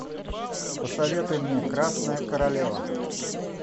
посоветуй мне красная королева